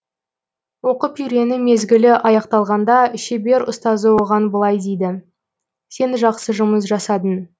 оқып үйрену мезгілі аяқталғанда шебер ұстазы оған былай дейді сен жақсы жұмыс жасадың